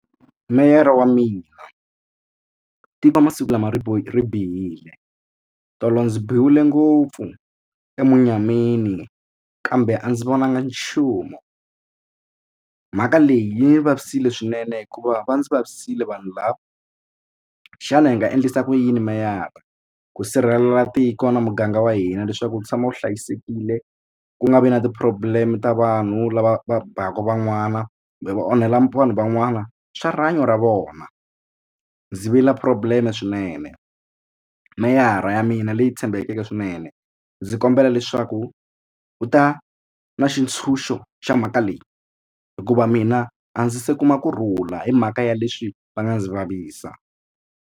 Meyara wa mina tiva masiku lama ri bihile tolo ndzi biwile ngopfu emunyameni kambe a ndzi vonanga nchumu mhaka leyi yi ni vavisekile swinene hikuva va ndzi vavisile vanhu lava xana hi nga endlisa ku yini meyara ku sirhelela tiko na muganga wa hina leswaku wu tshama wu hlayisekile ku nga vi na ti-problem ta vanhu lava va baka van'wana kumbe va onhela vanhu van'wana swa rihanyo ra vona ndzi vila problem swinene meyara ya mina leyi tshembekeke swinene ndzi kombela leswaku u ta na xitshunxo xa mhaka leyi hikuva mina a ndzi se kuma kurhula hi mhaka ya leswi va nga ndzi vavisa.